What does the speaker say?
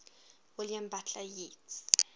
william butler yeats